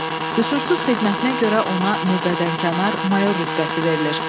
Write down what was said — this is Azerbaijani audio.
Qüsursuz xidmətinə görə ona növbədənkənar mayor rütbəsi verilir.